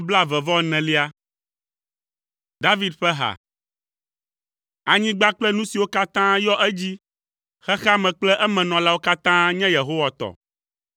David ƒe ha. Anyigba kple nu siwo katã yɔ edzi, xexea me kple emenɔlawo katã nye Yehowa tɔ.